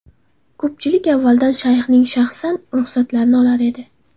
Ko‘pchilik avvaldan Shayxning shaxsan ruxsatlarini olar edi.